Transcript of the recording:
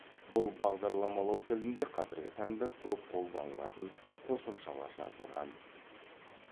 бұл бағдарламалау тілінде қазіргі таңда көп қолданылатын қосымшалар жазылған